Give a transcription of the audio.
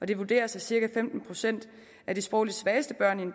det vurderes at cirka femten procent af de sprogligt svageste børn i